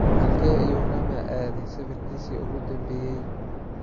Halkee ayuu Rama aaday safarkiisii ​​ugu dambeeyay?